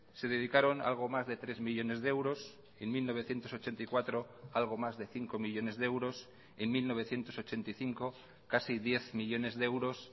se dedicaron algo más de tres millónes de euros en mil novecientos ochenta y cuatro algo más de cinco millónes de euros en mil novecientos ochenta y cinco casi diez millónes de euros